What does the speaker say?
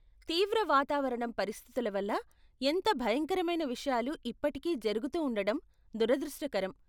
తీవ్ర వాతావరణం పరిస్థితుల వల్ల ఎంత భయంకరమైన విషయాలు ఇప్పటికీ జరుగుతూ ఉండడం దురదృష్టకరం.